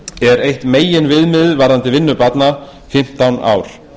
er eitt meginviðmiðið varðandi vinnu barna fimmtán ár